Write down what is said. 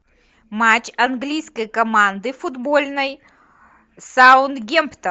матч английской команды футбольной саутгемптон